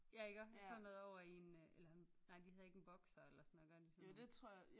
Ja iggå sådan noget ovre i en øh eller en nej de hedder ikke en boxer eller sådan noget gør de sådan noget